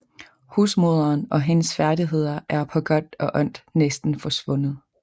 Husmoderen og hendes færdigheder er på godt og ondt næsten forsvundet